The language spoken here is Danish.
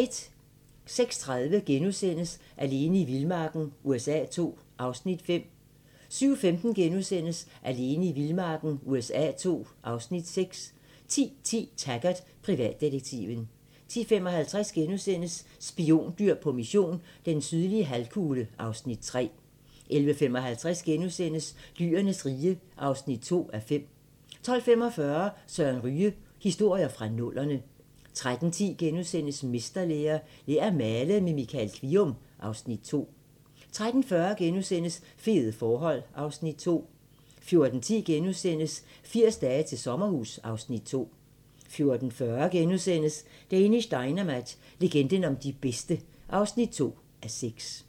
06:30: Alene i vildmarken USA II (Afs. 5)* 07:15: Alene i vildmarken USA II (Afs. 6)* 10:10: Taggart: Privatdetektiven 10:55: Spiondyr på mission - den sydlige halvkugle (Afs. 3)* 11:55: Dyrenes rige (2:5)* 12:45: Søren Ryge: Historier fra nullerne 13:10: Mesterlære - Lær at male med Michael Kvium (Afs. 2)* 13:40: Fede forhold (Afs. 2)* 14:10: 80 dage til sommerhus (Afs. 2)* 14:40: Danish Dynamite – legenden om de bedste (2:6)*